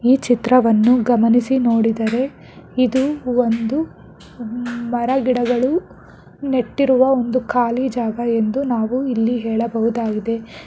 ಈ ಚಿತ್ರವನ್ನು ಗಮನಿಸಿ ನೋಡಿದರೆ ಇದು ಒಂದು ಮರ ಗಿಡಗಳು ನೆಟ್ಟಿರುವ ಒಂದು ಖಾಲಿ ಜಾಗ ಎಂದು ನಾವು ಇಲ್ಲಿ ಹೇಳಬಹುದಾಗಿದೆ.